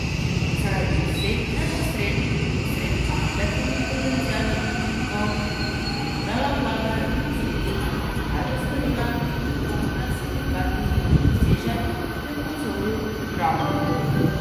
Zaradi vseh neposrednih in posrednih negativnih potencialnih učinkov bo morala vlada razmisliti, kaj bo storila, če dogovora s sindikati ne doseže, je opozoril Mramor.